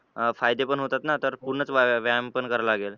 अं फायदे पण होतात ना तर पूर्णच व्याया व्यायाम पण करावा लागेल.